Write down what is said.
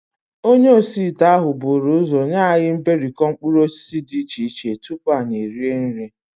Onye osiite ahụ buru ụzọ nye anyị mberikọ mkpụrụosisi dị iche iche tupu anyị erie nri